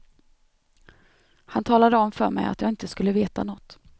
Han talade om för mig att jag inte skulle veta nåt.